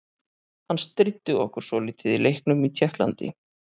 Hann stríddi okkur svolítið í leiknum í Tékklandi.